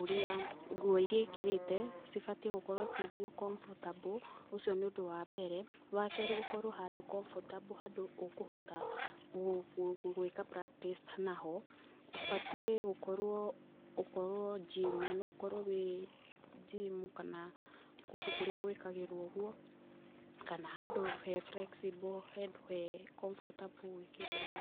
ũrĩa, nguo iria ekĩrĩte, cibatiĩ gũkorwo ci comfortable, ũcio nĩ ũndũ wa mbere. Wa kerĩ ũkorwo handũ comfortable, handũ ũkũhota gwika practice naho. Ubatiĩ gũkorwo, gũkorwo gym ,no ũkorwo wĩ gym, kana kũndũ kũrĩa gwĩkagĩrwo ũguo, kana handũ he flexible, handũ he comfortable gwĩkĩra ũguo.